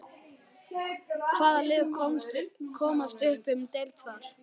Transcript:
Hvaða lið komast upp um deild þar?